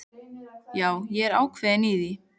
Já, ég er ákveðinn í því.